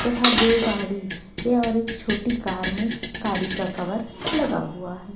तथा दो गाड़ी या और एक छोटी कार में गाड़ी का कवर लगा हुआ है।